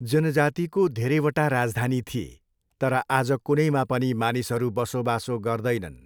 जनजातिको धेरैवटा राजधानी थिए, तर आज कुनैमा पनि मानिसहरू बसोबासो गर्दैनन्।